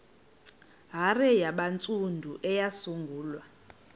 hare yabantsundu eyasungulwa